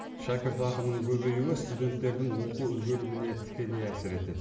шәкіртақының көбеюі студенттердің оқу үлгеріміне тікелей әсер етеді